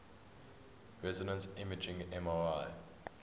resonance imaging mri